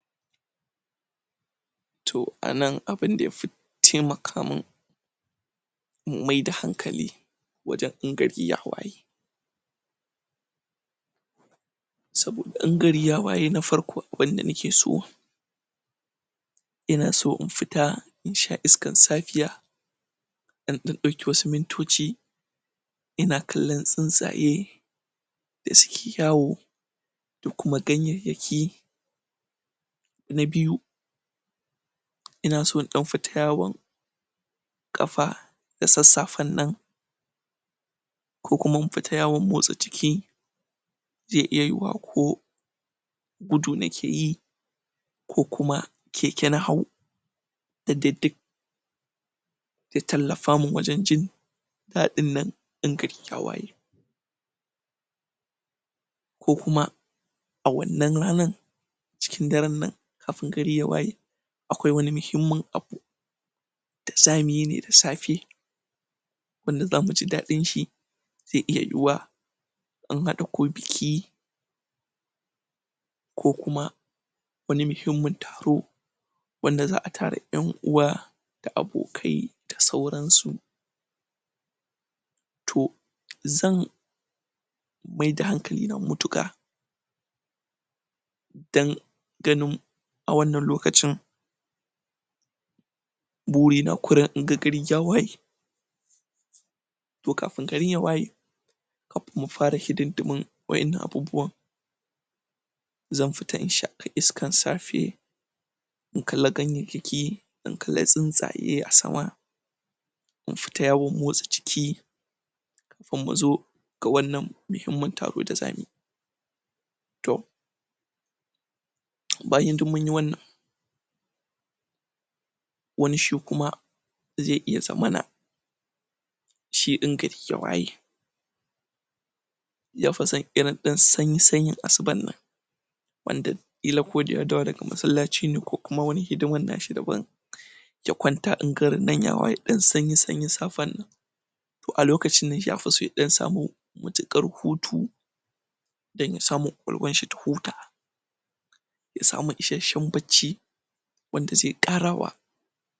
toh anan abinda yafi taimaka mun maida hankali wajan in gari ya waye saboda in gari ya waye na farko abinda nakeso inaso infita insha iskan safiya in dan dauki wasu mintoci ina kallan tsintsaye da suke yawo dakuma ganyayyaki na biyu inaso indan fita yawon kafa da sassafen nan kokuma in fita yawon motsa jiki ze iya yu'uwa ko gudu nakeyi ko kuma keke na hau yadda duk ya tallafamun wajan jin ɗa dinnan in gari ya waye ko kuma a wannan ranar cikin daran nan kafin gari ya waye akwai wani nuhimmin abu dazamuyi ne da safe wanda zamuji ɗaɗn shi ze iya yu'uwa in hada ko biki ko kuma wani muhimmin taro wanda za'a tara ƴan'uwa da abokai da sauran su toh zan maida hankalina matuka dan ganin awannan lokacin buri na kurum inga gari ya waye to kafin gari ya waye (up)mufara hidindimu wa ƴannan abubuwa zan fita inshaki iskan safe in kalla ganyayyaki in kalle tsunstsaye asama in fita yawon motsa jiki ga wannan muhimmin taro da zamuyi toh bayan din munyi wannan wani shi kuma ze iya zamana shidin in gari ya waye yafisan irin dan sanyi sanyin asuba nan wanda kila koda ya dawo daga massalaci ne ko wani hidiman nashi daban ya kwanta in garinan ya waye dan sanyi sanyin safen nan toh alokacin ne yafioso ya dan samu matukar hutu da ya samu kwakwalwanshi ta huta yasamu ishanshan bacci wanda ze karawa